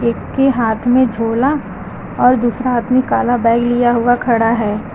एक के हाथ में झोला और दूसरा हाथ मे काला बैग लिया हुआ खड़ा है।